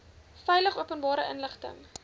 veilig openbare inligting